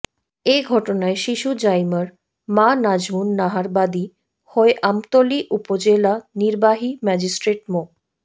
এ ঘটনায় শিশু জাইমার মা নাজমুন নাহার বাদী হয়ে আমতলী উপজেলা নির্বাহী ম্যাজিস্ট্রেট মো